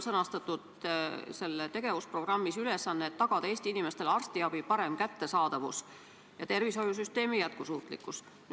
Selles tegevusprogrammis on sõnastatud ülesanne, et tagada Eesti inimestele arstiabi parem kättesaadavus ja tervishoiusüsteemi jätkusuutlikkus.